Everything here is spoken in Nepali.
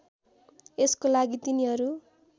यसको लागि तिनीहरू